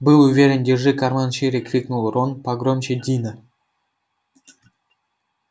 был уверен держи карман шире крикнул рон погромче дина